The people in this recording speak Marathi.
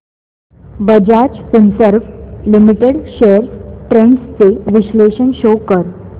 Bajaj Finserv limited shares trends चे विश्लेषण शो कर